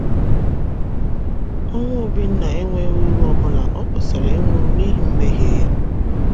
Ọnwụ Obinna enweghi uru ọbụla; o kwesịrị ịnwụrụ n’ihi mmehie ya.